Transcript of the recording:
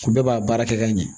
U bɛɛ b'a baara kɛ ka ɲɛ